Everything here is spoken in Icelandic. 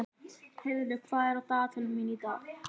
Heiðlaug, hvað er á dagatalinu mínu í dag?